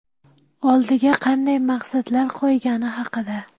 Oldiga qanday maqsadlar qo‘ygani haqida.